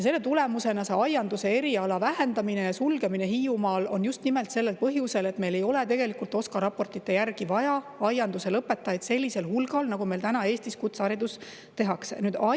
Aianduse eriala vähendamine ja sulgemine Hiiumaal on just nimelt sellel põhjusel, et meil ei ole tegelikult OSKA raportite järgi vaja aianduse lõpetajaid sellisel hulgal, nagu Eestis kutsehariduses.